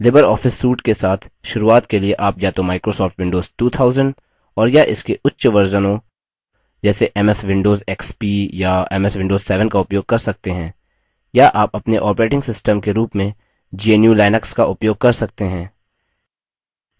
Libre office suite के साथ शुरूआत के लिए आप या तो microsoft windows 2000 और या इसके उच्चवर्जनों संस्करणों जैसे ms windows xp या ms windows 7 का उपयोग कर सकते हैं या आप अपने operating system के रूप में gnu/linux का उपयोग कर सकते हैं